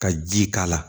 Ka ji k'a la